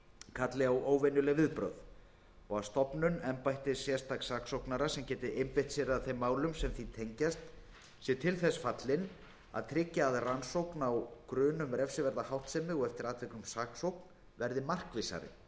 kalli á óvenjuleg viðbrögð og að stofnun embættis sérstaks saksóknara sem geti einbeitt sér að þeim málum sem því tengjast sé til þess fallin að tryggja að rannsókn á grun um refsiverða háttsemi og eftir atvikum saksókn verði markvissari